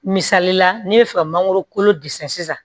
Misalila ne bɛ fɛ ka mangoro kolo disɛn sisan